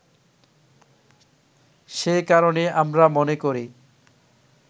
সেই কারণে আমরা মনে করি